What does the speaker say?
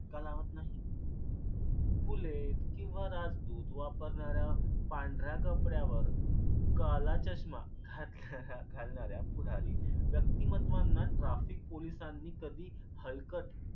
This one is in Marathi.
धक्का लावत नाही. बुलेट किंवा राजदूत वापरणाऱ्या पांढऱ्या कपड्यावर काला चष्मा घाल घालणाऱ्या पुढारी व्यक्तिमत्त्वांना traffic पोलिसांनी कधी हलकत का लावत नाही?